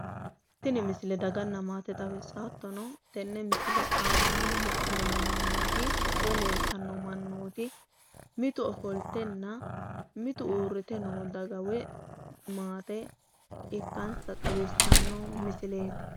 tini misile daganna maate xawissanno hattono, tenne misile aanaanni la'neemmo mannooti woyi leeltanno mannooti mitu ofoltenna mitu uurrite noo daga woyi maate ikkansa xawissanno misileeti.